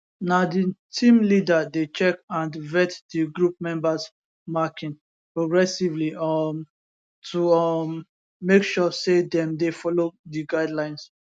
na di team leader dey check and vet di group members marking progressively um to um make sure say dem dey follow di guidelines